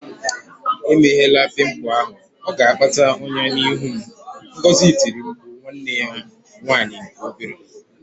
Emela pimple ahụ! Ọ ga-akpata ọnyá n'ihu m, Ngozi tiri mkpu nwanne ya nwanyị nke obere